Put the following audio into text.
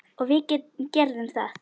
Og við gerðum það.